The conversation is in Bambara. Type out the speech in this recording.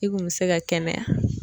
I kun bɛ se ka kɛnɛya.